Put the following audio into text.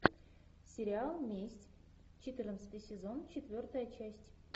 сериал месть четырнадцатый сезон четвертая часть